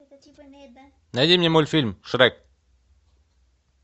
найди мне мультфильм шрек